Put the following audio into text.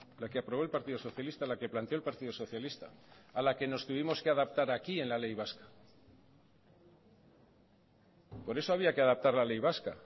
la que aprobó el partido socialista la que planteó el partido socialista a la que nos tuvimos que adaptar aquí en la ley vasca por eso había que adaptar la ley vasca